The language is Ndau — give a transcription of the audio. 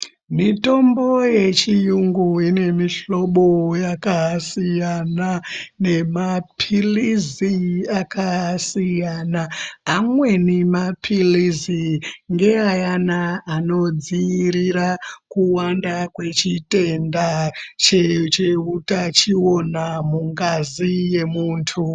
Mitombo yechiyungu inemihlobo yakasiyana nemapilisi akasiyana, amweni mapilisi ngeana anodziirira kuwanda kwechitenda chehutachiona mungazi yemuntu.